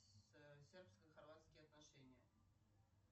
сербско хорватские отношения